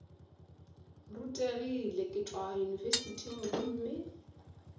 rutegile ke tšwa yunibesithing gomme